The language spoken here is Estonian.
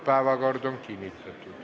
Päevakord on kinnitatud.